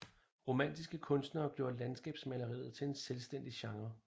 Romantiske kunstnere gjorde landskabsmaleriet til en selvstændig genre